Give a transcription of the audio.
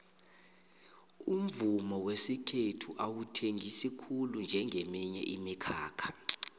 umvumo wesikhethu awuthengisi khulu njengeminye imikhakha